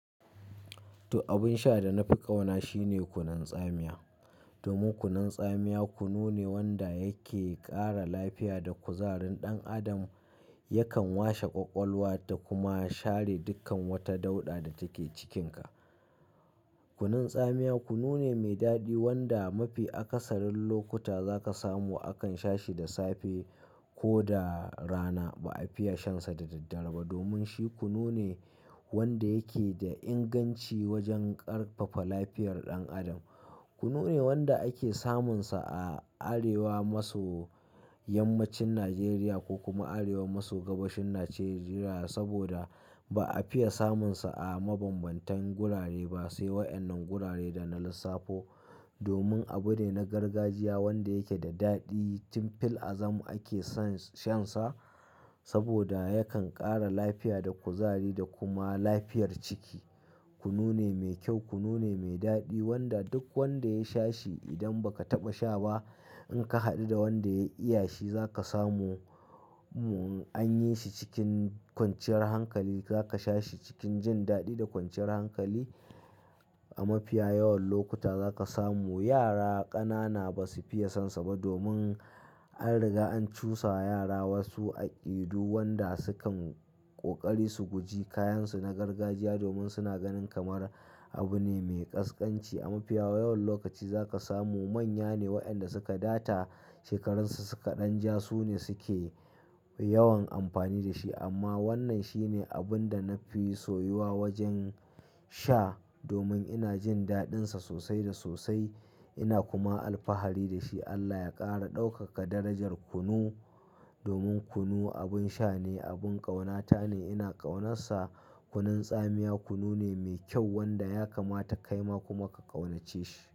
To abun sha da na fi ƙauna shine kunun tsamiya. Domin kunun tsamiya kunu ne wanda yake ƙara lafiya da kuzarin ɗan adam. Yakan washe ƙwaƙwalwa da kuma share dukkan wata dauɗa da take cikinka. Kunun tsamiya kunu ne mai daɗi wanda mafi akasarin lokuta zaka samu akan sha shi da safe ko da rana. Ba a fiya shansa da daddare ba domin shi kunu ne wanda yake da inganci wajen ƙarfafa lafiyar ɗan adam. Kunu ne wanda ake samunsa a arewa maso yammacin Najeriya ko kuma arewa maso gabashin Najeriya saboda ba a fiya samunsa a mabambantan gurare ba. Sai wayannan gurare da na lissafo domin abu ne na gargajiya wanda yake da daɗi. Tin fil azam ake son shansa saboda yakan ƙara lafiya da kuzari da kuma lafiyar ciki. Kunu ne mai kyau, kunu ne mai daɗi wanda duk wanda ya sha shi idan ba ka taɓa sha ba in ka haɗu da wanda ya iya shi zaka samu an yi shi cikin kwanciyar hankali. Zaka sha shi cikin jin daɗi da kwanciyar hankali. A mafiya yawan lokuta zaka samu yara ƙanana ba su fiya son sa ba domin an riga an cusa wa yara wasu aƙidu wanda sukan ƙoƙari su guji kayansu na gargajiya domin suna ganin kamar abu ne mai ƙasƙanci. A mafiya yawan lokaci zaka samu manya ne waɗanda suka data shekarunsu suka ɗan ja su ne suke yawan amfani da shi. Amma wannan shi ne abun da na fi soyuwa wajen sha domin ina jin daɗinsa sosai da sosai ina kuma alfahari da shi. Allah ya ƙara ɗaukaka darajar kunu domin kunu abun sha ne, abin ƙaunata ne, ina ƙaunassa. Kunun tsamiya kunu ne mai kyau wanda ya kamata kaima kuma ka ƙaunace shi.